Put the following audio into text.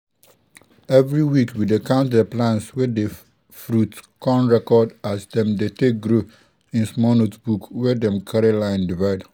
everi week we dey count di plants wey dey fruit con record as dem dey take grow in small notebook wey dem carry line divide.